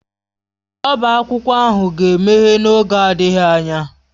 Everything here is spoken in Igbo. Ọbá akwụkwọ ahụ ga-emeghe n'oge adịghị anya.